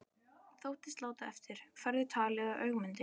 Þóttist láta eftir, færði talið að Ögmundi.